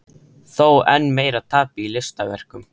Þó enn meira tapi í listaverkum.